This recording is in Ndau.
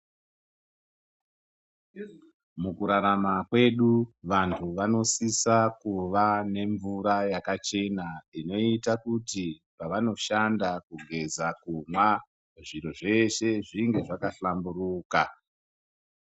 Mukurarama kwedu vanhu vanosisa kuva nemvura yakachena inoita kuti pavanoshanda kugeza ,kumwa zviro zveshe zvinge zvakahlanguruka